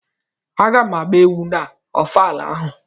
A ga m agba egwu na ofala ahụ.